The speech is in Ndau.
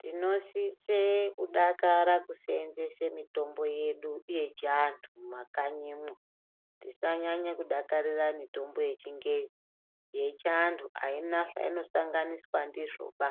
Tinosisa kudakara teitengese mitombo yedu yechiantu mumakanyimo tisanyanya kudakarira mitombo yechingezi yechiantu haina zvainosanganiswa ndizvoba